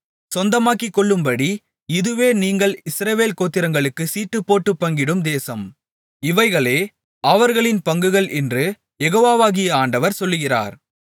சொந்தமாக்கிக்கொள்ளும்படி இதுவே நீங்கள் இஸ்ரவேல் கோத்திரங்களுக்குச் சீட்டுப்போட்டுப் பங்கிடும் தேசம் இவைகளே அவர்களின் பங்குகள் என்று யெகோவாகிய ஆண்டவர் சொல்லுகிறார்